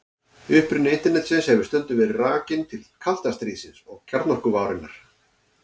Uppruni Internetsins hefur stundum verið rakinn til kalda stríðsins og kjarnorkuvárinnar.